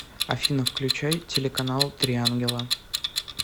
афина включай телеканал три ангела